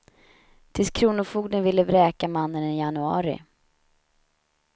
Tills kronofogden ville vräka mannen i januari.